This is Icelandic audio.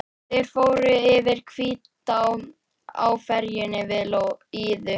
Þeir fóru yfir Hvítá á ferjunni við Iðu.